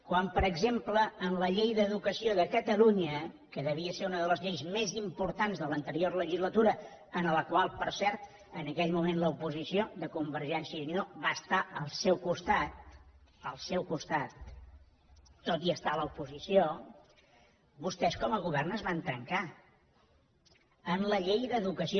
quan per exemple en la llei d’educació de catalunya que devia ser una de les lleis més importants de l’anterior legislatura i en la qual per cert en aquell moment l’oposició de convergència i unió va estar al seu costat al seu costat tot i estar a l’oposició vostès com a govern es van trencar en la llei d’educació